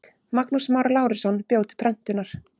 Magnús Már Lárusson bjó til prentunar.